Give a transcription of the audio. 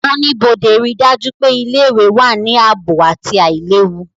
Oníbodé ríi dájú pé ilé-ìwé wà ní ààbò àti àìlewu